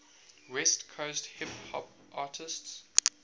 west coast hip hop artists